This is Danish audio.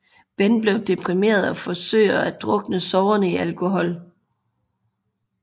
Ben bliver deprimeret og forsøger at drukne sorgerne i alkohol